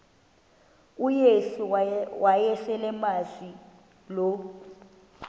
uyesu wayeselemazi lo